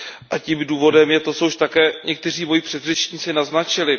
A tím důvodem je to, co už také někteří moji předřečníci naznačili.